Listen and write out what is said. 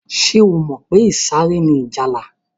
Ṣé o mọ̀ pé ìsàré ni ìjálá?